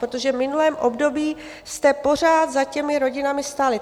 Protože v minulém období jste pořád za těmi rodinami stáli.